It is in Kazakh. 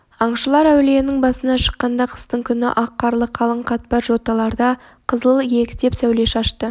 аңшылар әулиенің басына шыққанда қыстың күні ақ қарлы қалың қатпар жоталарда қызыл иектеп сәуле шашты